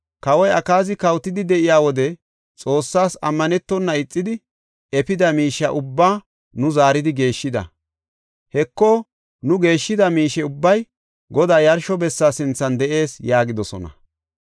Kawoy Akaazi kawotidi de7iya wode Xoossas ammanetona ixidi efida miishe ubbaa nu zaaridi geeshshida. Heko, nu geeshshida miishe ubbay Godaa yarsho bessa sinthan de7ees” yaagidosona.